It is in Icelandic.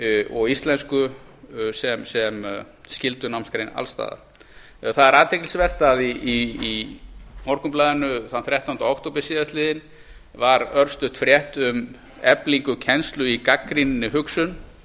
og íslensku sem skyldunámsgrein alls staðar það er athyglisvert að í morgunblaðinu þann þrettánda október síðastliðinn var örstutt frétt um eflingu kennslu í gagnrýninni hugsun